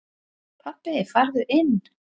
Pabbi farðu inn!